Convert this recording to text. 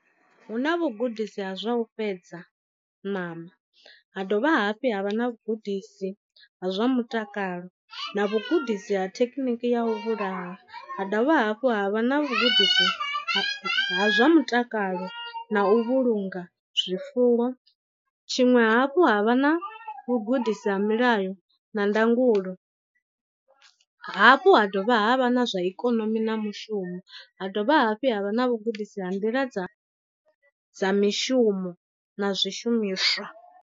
Hu na vhugudisi ha zwa u fhedza ṋama ha dovha hafhu ha vha na vhugudisi ha zwa mutakalo, na vhugudisi ha thekhiniki ya u vhulaha, ha dovha hafhu ha vha na vhugudisi ha zwa mutakalo na u vhulunga zwifuwo. Tshiṅwe hafhu ha vha na vhugudisi ha milayo na ndangulo, hafhu ha dovha ha vha na zwa ikonomi na mushumo ha dovha hafhu ha vha na vhugudisi ha nḓila dza dza mishumo na zwishumiswa.